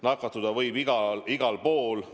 Nakatuda võib igal igal pool.